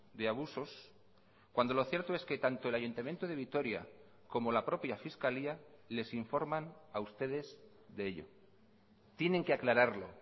de abusos cuando lo cierto es que tanto el ayuntamiento de vitoria como la propia fiscalía les informan a ustedes de ello tienen que aclararlo